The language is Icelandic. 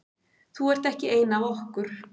Þú ert ekki ein af okkur.